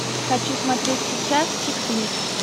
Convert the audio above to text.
хочу смотреть сейчас чикфлик